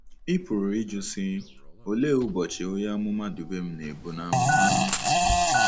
Ị pụrụ ịjụ, sị, ‘Olee “ụbọchị” onye amụma Dubem na-ebu n’amụma? '